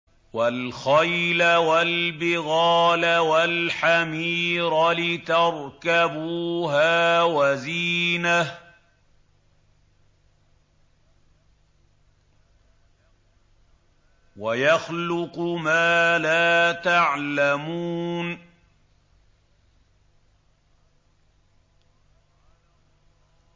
وَالْخَيْلَ وَالْبِغَالَ وَالْحَمِيرَ لِتَرْكَبُوهَا وَزِينَةً ۚ وَيَخْلُقُ مَا لَا تَعْلَمُونَ